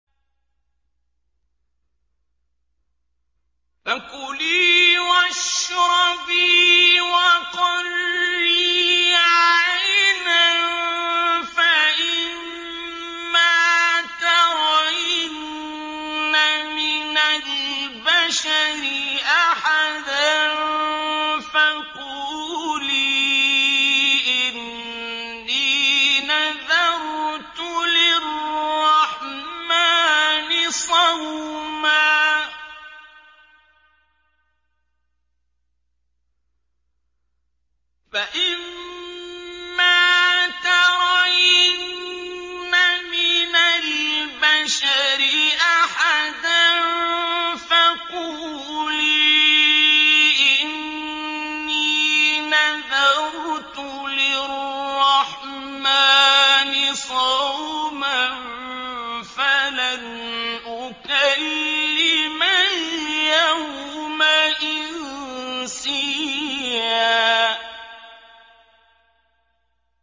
فَكُلِي وَاشْرَبِي وَقَرِّي عَيْنًا ۖ فَإِمَّا تَرَيِنَّ مِنَ الْبَشَرِ أَحَدًا فَقُولِي إِنِّي نَذَرْتُ لِلرَّحْمَٰنِ صَوْمًا فَلَنْ أُكَلِّمَ الْيَوْمَ إِنسِيًّا